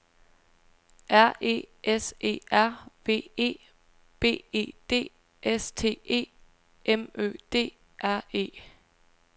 R E S E R V E B E D S T E M Ø D R E